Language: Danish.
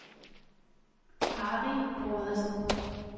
Harry Brodersen